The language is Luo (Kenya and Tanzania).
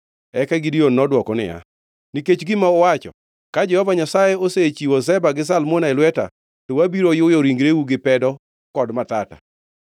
Eka Gideon nodwoko niya, “Nikech gima uwacho, ka Jehova Nyasaye osechiwo Zeba gi Zalmuna e lweta, to abiro yuyo ringreu gi pedo kod matata.”